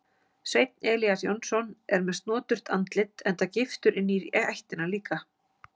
Sveinn Elías Jónsson er með snoturt andlit enda giftur inní ættina líka.